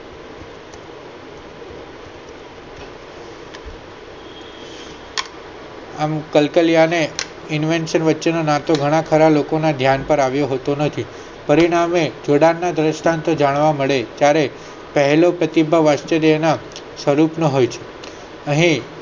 અને કલકાલિયા ને Inwichon નાટો ઘણા ખરા ને લોકો ને ધ્યાન પર આવ્યો હોતો નથી ફરી ને આવે જોડાણ નો દ્રન્સ્ટન્ટ જાણવા મળે ત્યારે પહેલો પ્રતિ ભાવ આશ્ચર્ય નો સ્વરૂપ નો હોય છે અહીં